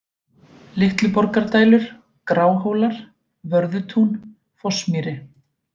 Litluborgardælur, Gráhólar, Vörðutún, Fossmýri